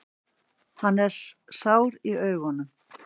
Hann er sár í augunum.